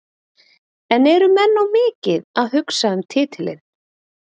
En eru menn of mikið að hugsa um titilinn?